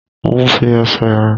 Mo ń fi ẹsẹ̀ rìn.